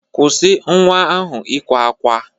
Kwụsị nwa ahụ ịkwa ákwá.